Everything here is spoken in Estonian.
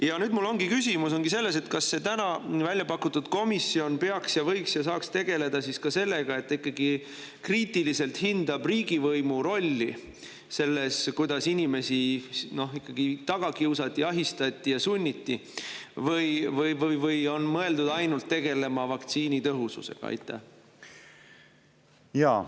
Ja nüüd mul ongi küsimus, kas see täna välja pakutud komisjon peaks tegelema, võiks ja saaks tegeleda ka sellega, et ikkagi kriitiliselt hinnata riigivõimu rolli selles, kuidas inimesi taga kiusati, ahistati ja sunniti, või on mõeldud see ainult tegelema vaktsiinide tõhususega.